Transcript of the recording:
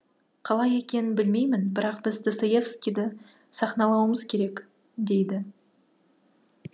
қалай екенін білмеймін бірақ біз достоевскийді сахналауымыз керек дейді